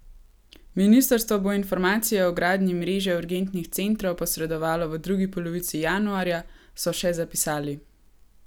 Ministrstvo bo informacije o gradnji mreže urgentnih centrov posredovalo v drugi polovici januarja, so še zapisali.